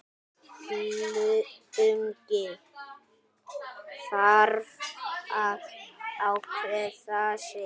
Illugi þarf að ákveða sig.